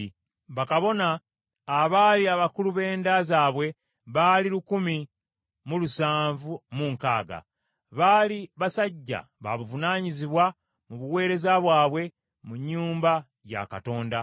Bakabona abaali abakulu b’enda zaabwe baali lukumi mu lusanvu mu nkaaga. Baali basajja babuvunaanyizibwa mu buweereza bwabwe mu nnyumba ya Katonda.